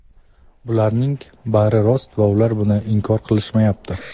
bularning bari rost va ular buni inkor qilishmayapti.